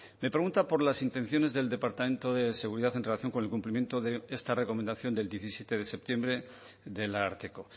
me pregunta por las intenciones del departamento de seguridad en relación con el cumplimiento de esta recomendación del diecisiete de septiembre del ararteko